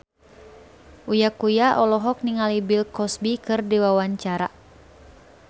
Uya Kuya olohok ningali Bill Cosby keur diwawancara